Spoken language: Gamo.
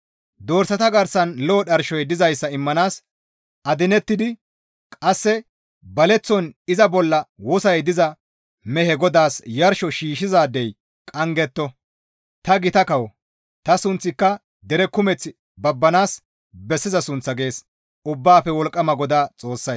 «Dorsata garsan lo7o dharshoy dizayssa immanaas adinettidi qasse baleththon iza bolla wosoy diza mehe Godaas yarsho shiishshizaadey qanggetto; ta gita kawo; ta sunththika dere kumeththi babbanaas bessiza sunththa» gees Ubbaafe Wolqqama GODAA Xoossay.